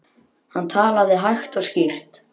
Hann talaði hægt og skýrt.